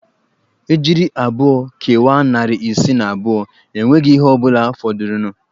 Ejiri abụọ kewaa narị isii na abụọ enweghị ihe ọ bụla fọdụrụnụ